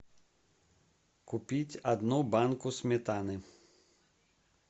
купить одну банку сметаны